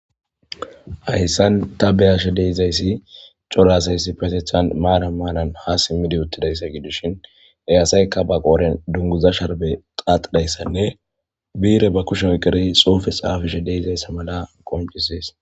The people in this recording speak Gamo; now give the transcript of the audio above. Hayssan ta beyashe dizayssi cora asay issipetetan ha siimidii maran maran uuttidayssa gidishin qasekka ba qodhen dunguza sharibe xaxizayssanne bi'irebba kushen oykidii xuufe xaafishe de'ettes